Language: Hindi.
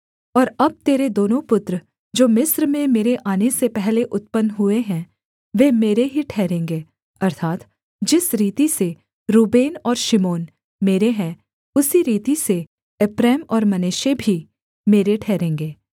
और अब तेरे दोनों पुत्र जो मिस्र में मेरे आने से पहले उत्पन्न हुए हैं वे मेरे ही ठहरेंगे अर्थात् जिस रीति से रूबेन और शिमोन मेरे हैं उसी रीति से एप्रैम और मनश्शे भी मेरे ठहरेंगे